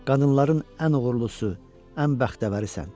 Qadınların ən uğurlusu, ən bəxtəvərisən.